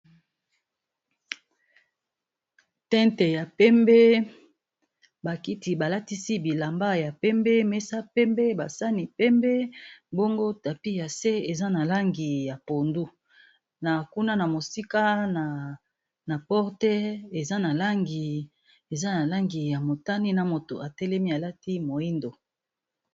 Tinte ya pembe ba kiti ba latisi bilamba ya pembe mesa pembe ba sani pembe bongo tapi ya se eza na langi ya pondu na kuna na mosika na porte eza na langi ya motani na moto atelemi alati moyindo.